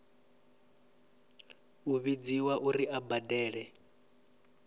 u vhudziwa uri a badele